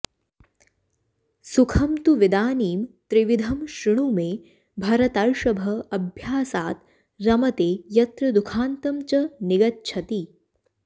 सुखं तु विदानीं त्रिविधं शृणु मे भरतर्षभ अभ्यासात् रमते यत्र दुःखान्तं च निगच्छति